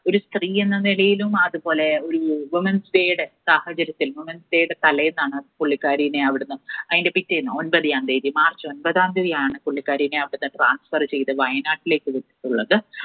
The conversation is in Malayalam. ഒരു സ്ത്രീയെന്ന നിലയിലും അതുപോലെ ഒരു women's day യുടെ സാഹചര്യത്തിൽ women's day യുടെ തലേന്നാണ് പുള്ളിക്കാരീനെ അവിടുന്ന് അതിൻറെ പിറ്റേന്ന് on the dayMarch ഒമ്പതാം തീയതി ആണ് ആ പുള്ളിക്കാരീനെ അവിടുന്ന് transfer ചെയ്തു വയനാട്ടിലേക്ക് വിട്ടിട്ടുള്ളത്.